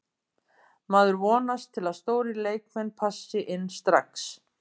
Maður vonast til að stórir leikmenn passi inn strax.